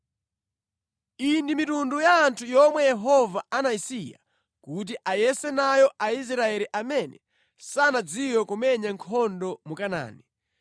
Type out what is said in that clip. Iyi ndi mitundu ya anthu yomwe Yehova anayisiya kuti ayese nayo Aisraeli amene sanadziwe kumenya nkhondo mu Kanaani